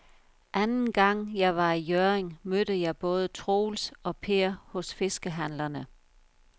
Anden gang jeg var i Hjørring, mødte jeg både Troels og Per hos fiskehandlerne.